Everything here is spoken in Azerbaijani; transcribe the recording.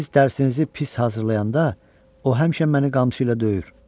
Siz dərsinizi pis hazırlayanda o həmişə məni qamçısı ilə döyür.